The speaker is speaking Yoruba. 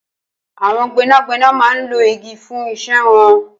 Awọn gbẹnágbẹná má n ló igi fùn iṣẹ̀ wọ̀n